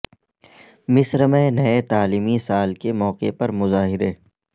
مصر میں نئے تعلیمی سال کے موقع پر مظاہرے